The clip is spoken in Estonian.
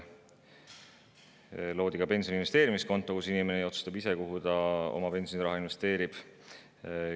Loodi ka pensioni investeerimiskonto, inimene otsustab ise, kuhu ta oma pensioniraha investeerib.